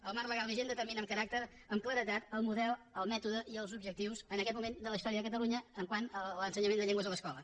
el marc legal vigent determina amb claredat el model el mètode i els objectius en aquest moment de la història de catalunya quant a l’ensenyament de llengües a l’escola